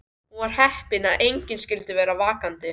Hún var heppin að enginn skyldi vera vakandi.